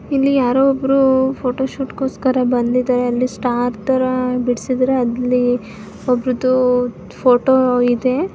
ಇಲ್ಲಿ ಯಾರೋ ಒಬ್ರು ಫೋಟೊಶೂಟ್ಗೋಸ್ಕರ ಬಂದಿದ್ದಾರೆ ಅಲ್ಲಿ ಸ್ಟಾರ್ ತರ ಬಿಡ್ಸಿದಾರೆ ಅಲ್ಲಿ ಒಬ್ರುದು ಫೋಟೋ ಇದೆ.